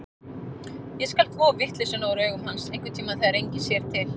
Ég skal þvo vitleysuna úr augum hans, einhverntíma þegar enginn sér til.